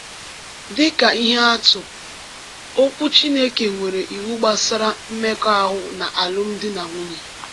Dị ka ihe atụ, Okwu Chineke nwere iwu gbasara mmekọahụ na alụmdi na nwunye.